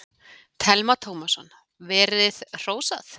Telma Tómasson: Verið hrósað?